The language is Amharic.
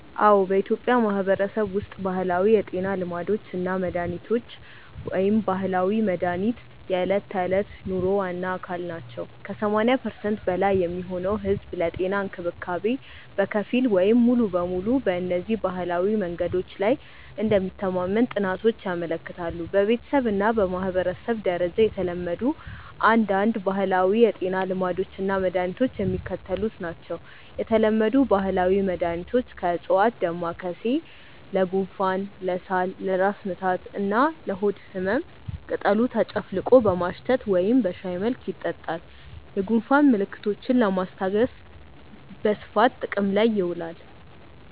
አዎ፣ በኢትዮጵያ ማህበረሰብ ውስጥ ባህላዊ የጤና ልማዶች እና መድሃኒቶች (ባህላዊ መድሃኒት) የዕለት ተዕለት ኑሮ ዋና አካል ናቸው። ከ80% በላይ የሚሆነው ህዝብ ለጤና እንክብካቤ በከፊል ወይም ሙሉ በሙሉ በእነዚህ ባህላዊ መንገዶች ላይ እንደሚተማመን ጥናቶች ያመለክታሉ። በቤተሰብ እና በማህበረሰብ ደረጃ የተለመዱ አንዳንድ ባህላዊ የጤና ልማዶች እና መድኃኒቶች የሚከተሉት ናቸው የተለመዱ ባህላዊ መድኃኒቶች (ከዕፅዋት) ደማካሴ (Ocimum lamiifolium): ለጉንፋን፣ ለሳል፣ ለራስ ምታት እና ለሆድ ህመም ቅጠሉ ተጨፍልቆ በማሽተት ወይም በሻይ መልክ ይጠጣል። የጉንፋን ምልክቶችን ለማስታገስ በስፋት ጥቅም ላይ ይውላል።